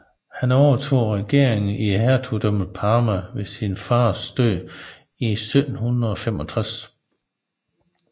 Han overtog regeringen i Hertugdømmet Parma ved sin fars død i 1765